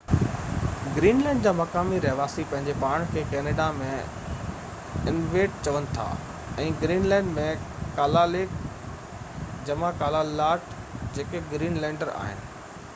Greenland جا مقامي رهواسي پنهنجي پاڻ کي ڪينيڊا ۾ انويٽ چون ٿا ۽ گرين لينڊ ۾ ڪالاليق جمع ڪالالٽ، جيڪي گرين لينڊر آهن